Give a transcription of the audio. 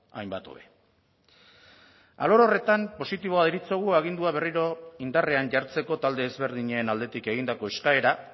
hainbat hobe alor horretan positiboa deritzogu agindua berriro indarrean jartzeko talde ezberdinen aldetik egindako eskaera